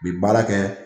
U bi baara kɛ